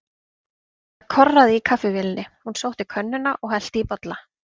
Það korraði í kaffivélinni, hún sótti könnuna og hellti í bollana.